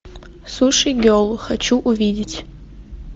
суши герл хочу увидеть